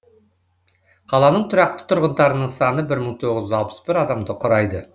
қаланың тұрақты тұрғындарының саны бір мың тоғыз жүз алпыс бір адамды құрайды